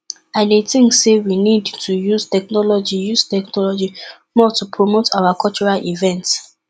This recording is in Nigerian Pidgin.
i dey think say we need to use technology use technology more to promote our cultural events